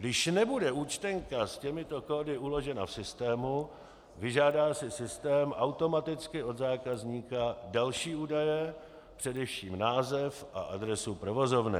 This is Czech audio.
Když nebude účtenka s těmito kódy uložena v systému, vyžádá si systém automaticky od zákazníka další údaje, především název a adresu provozovny.